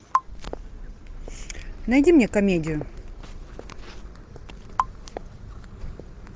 найди мне комедию